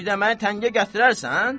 Bir də məni təngə gətirərsən?